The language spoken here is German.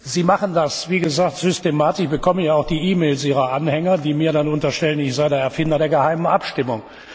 Sie machen das, wie gesagt, systematisch. Ich bekomme ja auch die E Mails Ihrer Anhänger, die mir dann unterstellen, ich sei der Erfinder der geheimen Abstimmung.